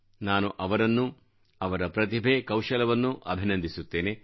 ನಾನು ಅವರನ್ನೂ ಅವರ ಪ್ರತಿಭೆ ಕೌಶಲವನ್ನು ಅಭಿನಂದಿಸುತ್ತೇನೆ